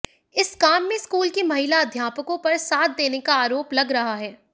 इस काम में स्कूल की महिला अध्यापकों पर साथ देने का आरोप लग रहा है